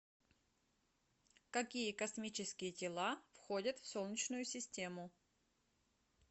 какие космические тела входят в солнечную систему